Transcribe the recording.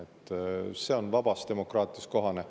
See on vabas demokraatias kohane.